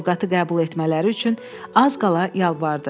Sovqatı qəbul etmələri üçün az qala yalvardı.